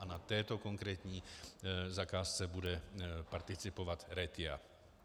A na této konkrétní zakázce bude participovat Retia.